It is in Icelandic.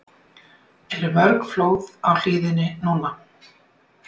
Eru mörg flóð á hlíðinni núna?